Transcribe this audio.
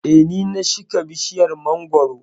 eh ,Ni na shika bishiyar mangwaro